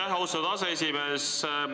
Aitäh, austatud aseesimees!